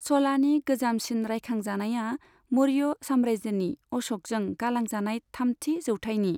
च'लानि गोजामसिन रायखांजानाया मौर्य साम्रायजोनि अश'कजों गालांजानाय थामथि जौथाइनि।